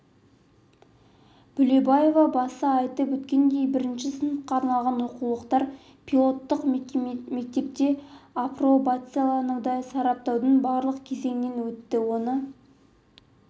бөлебаева баса айтып өткендей бірінші сыныпқа арналған оқулықтар пилоттық мектепте апробацияланды сараптаудың барлық кезеңінен өтті оны